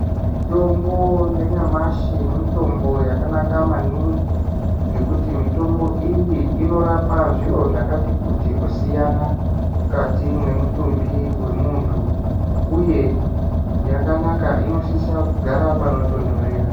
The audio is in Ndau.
Mitombo yanyamashi, mitombo yakanaka maningi, ngekuti mitombo iyi inorapa zviro zvakati kuti kusiyana mukati mwemutumbi wemuntu, uye yakanaka inosisa kugara panotonhorera.